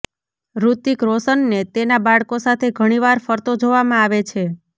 ઋતિક રોશનને તેના બાળકો સાથે ઘણીવાર ફરતો જોવામાં આવે છે